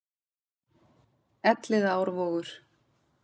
elliðaárvogur